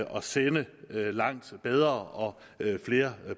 at sende langt bedre og flere